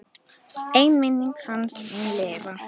En minning hans mun lifa.